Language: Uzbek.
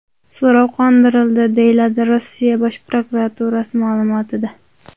So‘rov qondirildi”, – deyiladi Rossiya Bosh prokuraturasi ma’lumotida.